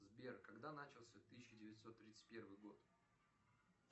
сбер когда начался тысяча девятьсот тридцать первый год